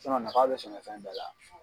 nafa bɛ sɛnɛfɛn bɛɛ la.